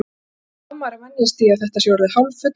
Hvernig á maður að venjast því að þetta sé orðið hálffullorðið?